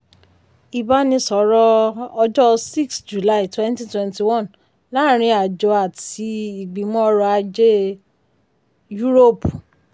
ìbánisọ̀rọ̀ ọjọ́ six july twenty twenty one láàárín àjọ àti ìgbìmọ̀ ọrọ̀ ajé yúróòpù.